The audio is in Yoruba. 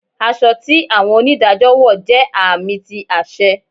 Aṣọ ti awọn onidajọ wọ jẹ aami ti aṣẹ